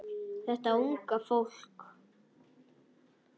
Þetta unga fólk.